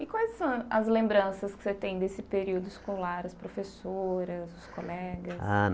E quais são as lembranças que você tem desse período escolar, as professoras, os colegas? Ah